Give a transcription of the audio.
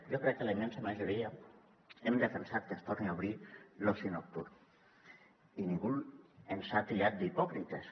jo crec que la immensa majoria hem defensat que es torni a obrir l’oci nocturn i ningú ens ha tatxat d’hipòcrites